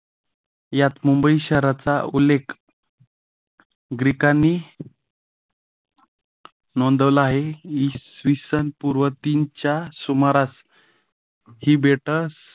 यात मुंबई शहराचा उल्लेख ग्रीकांनी नोंदवला आहे. इसवी सन पूर्व तीनच्या सुमारास ही बेटा